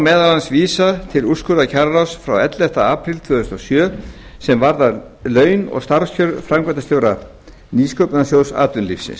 meðal annars vísa til úrskurðar kjararáðs frá elleftu apríl tvö þúsund og sjö sem varðar laun og starfskjör framkvæmdastjóra nýsköpunarsjóðs atvinnulífsins